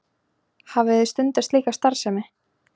Hafið þið stundað slíka starfsemi?